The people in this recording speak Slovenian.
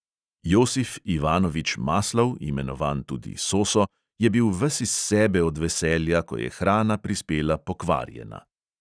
Josif ivanovič maslov, imenovan tudi soso, je bil ves iz sebe od veselja, ko je hrana prispela pokvarjena.